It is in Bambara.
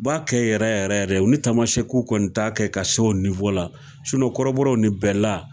U b'a kɛ yɛrɛ yɛrɛ yɛrɛ olu Tamasɛku kɔni t'a kɛ ka se o la kɔrɔbɔrɔw ni bɛɛla